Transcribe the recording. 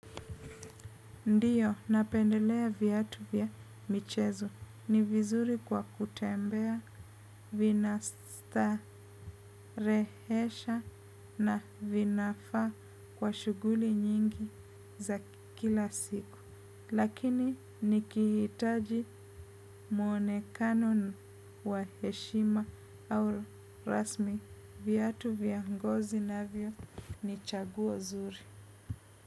Ndiyo, napendelea viatu vya michezo. Ni vizuri kwa kutembea, vina starehesha na vinafaa kwa shuguli nyingi za kila siku. Lakini nikihitaji mwonekano wa heshima au rasmi viatu vya ngozi navyo ni chaguo zuri.